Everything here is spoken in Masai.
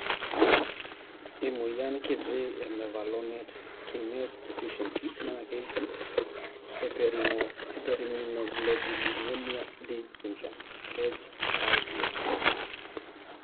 Emoyian kitii e mevalonate kinase deficiency na keji hyperimmunoglobulinemia D syndrome (HIDS).